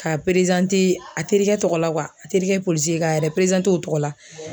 Ka a terikɛ tɔgɔ la a terikɛ polisi k'a yɛrɛ o tɔgɔ la.